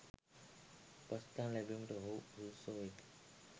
උපස්ථාන ලැබීමට ඔවුහු සුදුස්සෝ වෙති.